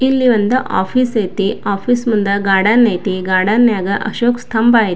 ಇಲ್ಲಿ ಒಂದು ಆಫೀಸ್ ಐತೆ ಆಫೀಸ್ ಮುಂದೆ ಗಾರ್ಡನ್ ಐತೆ ಗಾರ್ಡನ್ ಗ ಅಶೋಕ್ ಸ್ತಂಭ ಐತೆ.